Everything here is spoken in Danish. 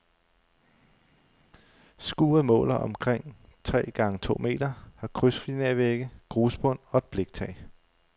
Skuret måler omkring tre gange to meter, har krydsfinervægge, grusbund og et bliktag.